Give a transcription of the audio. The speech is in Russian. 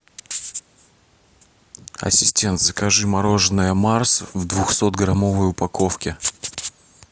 ассистент закажи мороженое марс в двухсотграммовой упаковке